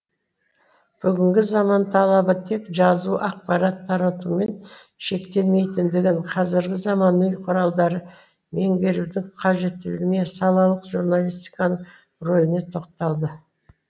бүгінгі заман талабы тек жазу ақпарат таратумен шектелмейтіндігін қазіргі заманауи құралдарды меңгерудің қажеттілігіне салалық журналистиканың рөліне тоқталды